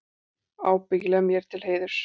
Ábyggilega mér til heiðurs.